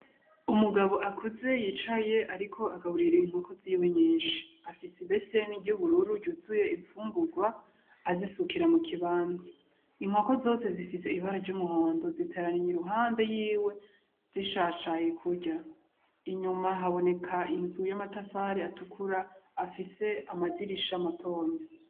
Umugabo akuze yicaye, ariko agaburira inkoko ziwe nyinshi afise imbeseni ry'ubururu ryuzuye imfungurwa azisukira mu kibanza inkoko zose zifise ibara ry'umuhondo zitaraniye i ruhande yiwe zishashaye kurya inyuma haboneka inzu y'amatafari atukura afise se amadirisha matoyi .